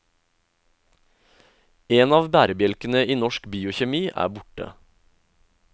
En av bærebjelkene i norsk biokjemi er borte.